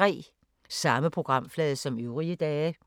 Samme programflade som øvrige dage